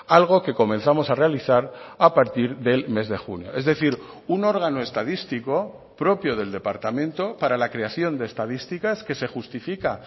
algo que comenzamos a realizar a partir del mes de junio es decir un órgano estadístico propio del departamento para la creación de estadísticas que se justifica